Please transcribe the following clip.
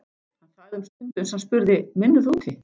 Hann þagði um stund uns hann spurði: Vinnurðu úti?